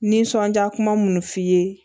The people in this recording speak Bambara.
Nisɔndiya kuma munnu fɔ i ye